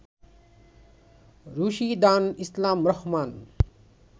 Rushidan Islam Rahman